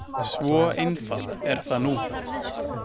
Svo einfalt er það nú.